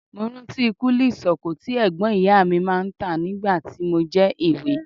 Mo rántí kúlí sọ̀kọ̀ tí ẹ̀gbọ́n ìyá mi máa ń tà nígbà tí mo jẹ́ èwe